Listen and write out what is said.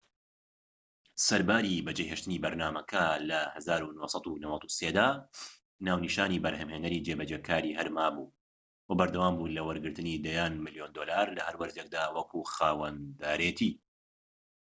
سەرباری بەجێهێشتنی بەرنامەکە لە ١٩٩٣ دا، ناونیشانی بەرهەمهێنەری جێبەجێکاری هەر مابوو وە بەردەوامبوو لە وەرگرتنی دەیان ملیۆن دۆلار لە هەر وەرزێكدا وەکو خاوەندارێتی